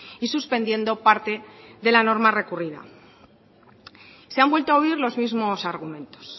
y suspendiendo parte de la norma recurrida se han vuelto a oír los mismos argumentos